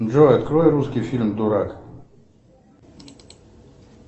джой открой русский фильм дурак